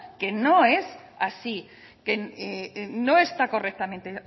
que no es así que no está correctamente